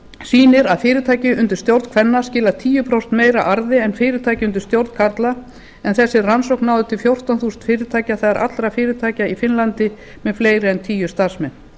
sýnir að fyrirtæki undir stjórn kvenna skila tíu prósentum meira arði en fyrirtæki undir stjórn karla en þessi rannsókn náði til fjórtán þúsund fyrirtækja það er allra fyrirtækja í finnlandi með fleiri en tíu starfsmenn